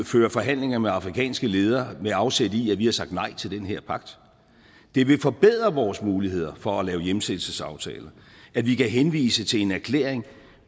ført forhandlinger med afrikanske ledere med afsæt i at vi har sagt nej til den her pagt det vil forbedre vores muligheder for at lave hjemsendelsesaftaler at vi kan henvise til en erklæring